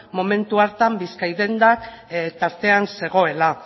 momentu hartan bizkaidendak tartean zegoela